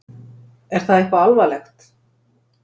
Er það eitthvað alvarlegt?